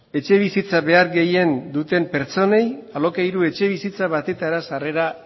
etxebizitza behar gehien behar duten pertsonei alokairu etxebizitza batetara sarrera